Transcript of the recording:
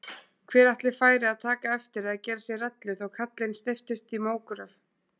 Hver ætli færi að taka eftir eða gera sér rellu þó kallinn steyptist í mógröf?